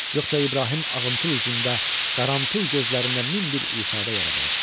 Yoxsa İbrahim ağamtıl üzündə, qaramtıl gözlərində min bir ifadə yaradardı.